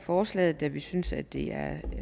forslaget da vi synes at det